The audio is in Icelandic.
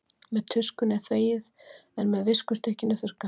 Með tuskunni er þvegið en með viskustykkinu þurrkað.